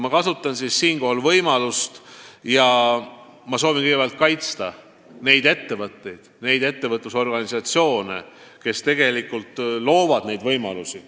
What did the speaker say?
Ma kasutangi võimalust, et kaitsta neid ettevõtteid ja neid ettevõtlusorganisatsioone, kes tegelikult loovad neid võimalusi.